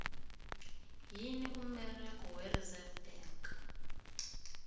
yini umberego we reserve bank